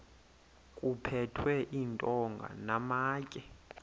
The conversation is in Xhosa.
kuphethwe iintonga namatye